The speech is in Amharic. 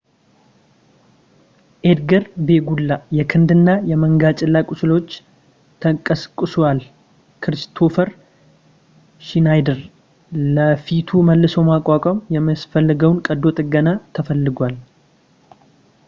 ኤድጋር ቬጉላ የክንድ እና የመንገጭላ ቁስሎች ተቀስቅሷል ኪሪስቶፈር ሽናይደር ለፊቱ መልሶ ማቋቋም የሚያስፈልገውን ቀዶ ጥገና ተፈልጓል